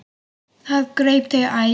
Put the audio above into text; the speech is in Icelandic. Það greip þau æði.